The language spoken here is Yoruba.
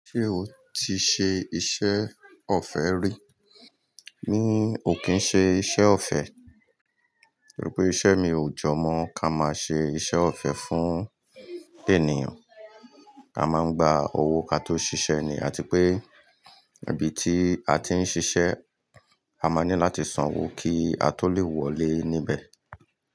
Ṣé o ti ṣe iṣẹ́ ọ̀fẹ́ rí? Mi ò kí ń ṣe iṣẹ́ ọ̀fẹ́, torí pé iṣẹ́ mi ò jọ mọ́ ká máa ṣe iṣẹ́ ọ̀fẹ́ fún ènìyàn. A máa ń gba owó ká tó ṣiṣẹ́ ni, àti pé ibi tí a ti ń ṣiṣẹ́, a máa ní láti sanwó kí a tó le wọlé níbẹ̀.